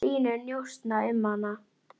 Þið voruð samrýnd alla tíð.